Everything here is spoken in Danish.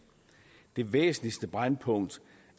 det væsentligste brændpunkt